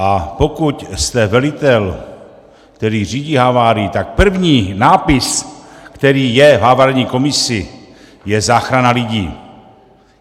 A pokud jste velitel, který řídí havárii, tak první nápis, který je v havarijní komisi, je záchrana lidí.